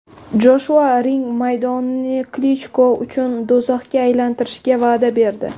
Joshua ring maydonini Klichko uchun do‘zaxga aylantirishga va’da berdi.